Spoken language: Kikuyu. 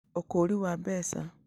Ũkũũri wa mbeca